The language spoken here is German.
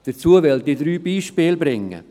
Dazu möchte ich drei Beispiele bringen: